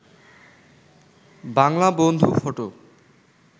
বাংলা বন্ধু ফটো